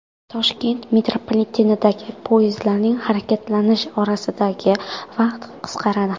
Toshkent metropolitenidagi poyezdlarning harakatlanish orasidagi vaqt qisqaradi.